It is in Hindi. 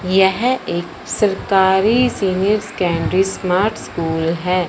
यह एक सरकारी सीनियर सकैण्डरी स्मार्ट स्कूल है।